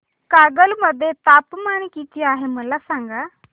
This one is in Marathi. कागल मध्ये तापमान किती आहे मला सांगा